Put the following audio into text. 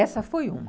Essa foi uma.